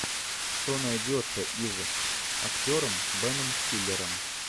что найдется из с актером беном стиллером